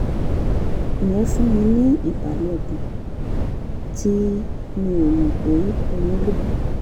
yẹn fún mi ní ìbàlẹ̀ ọkàn tí mi ò mọ̀ pé mo nílò